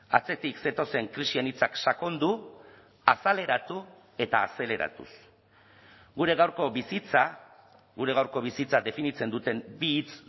atzetik zetozen krisi anitzak sakondu azaleratu eta azeleratuz gure gaurko bizitza gure gaurko bizitza definitzen duten bi hitz